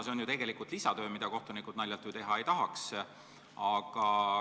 See on tegelikult lisatöö, mida kohtunikud naljalt teha ei tahaks.